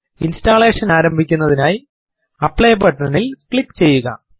installation ആരംഭിക്കുന്നതിനായി ആപ്ലി ബട്ടനിൽ ക്ലിക്ക് ചെയ്യുക